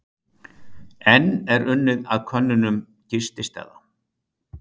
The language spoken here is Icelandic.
Enn er unnið að könnunum gististaða